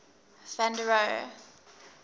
van der rohe